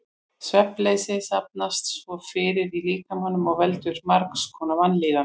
Svefnleysi safnast svo fyrir í líkamanum og veldur margs konar vanlíðan.